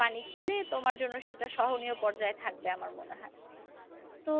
পানি খেলে তোমার জন্য সেটা সহনীয় পর্যায়ে থাকবে আমার মনে হয়। তো